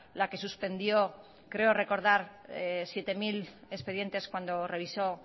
la que suspendió creo recordar siete mil expedientes cuando revisó